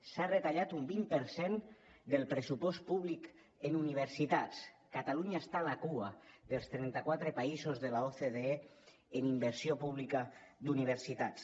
s’ha retallat un vint per cent del pressupost públic en universitats catalunya està a la cua dels trenta quatre països de l’ocde en inversió pública d’universitats